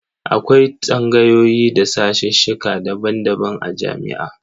Akwai tsangayoyi da sashesheka daban-daban a jami'a.